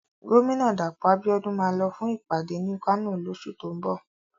Gómìnà Dàpọ̀ Abíọ́dún máa lọ fún ìpàdé ní Kano lóṣù tó ń bọ̀.